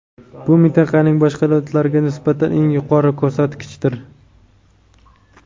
bu mintaqaning boshqa davlatlariga nisbatan eng yuqori ko‘rsatkichdir.